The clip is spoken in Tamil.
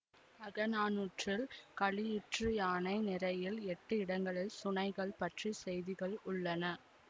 அகநானூற்றில் களியுற்றுயானை நிரையில் எட்டு இடங்களில் சுனைகள் பற்றி செய்திகள் உள்ளன